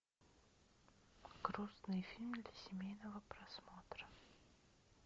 грустный фильм для семейного просмотра